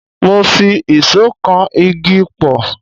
Mo fi ìṣó kan igi pọ̀.